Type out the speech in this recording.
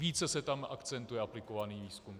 Více se tam akcentuje aplikovaný výzkum.